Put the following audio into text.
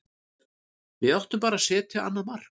Við áttum bara að setja annað mark.